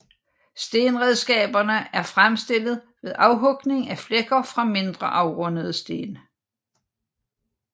Stenredskaberne er fremstillet ved afhugning af flækker fra mindre afrundede sten